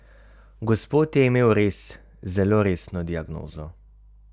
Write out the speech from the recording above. Gospod je imel res zelo resno diagnozo.